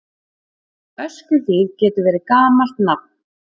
Öskjuhlíð getur verið gamalt nafn.